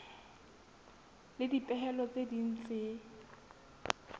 le dipehelo tse ding tse